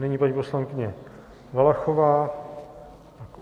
Nyní paní poslankyně Valachová.